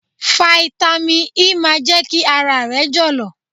Fáítámì E máa jẹ́ kí ara rẹ jọ̀lọ̀.